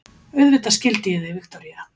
Auðvitað skildi ég þig, Viktoría.